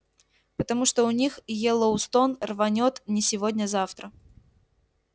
потому что у них йеллоустон рванёт не сегодня-завтра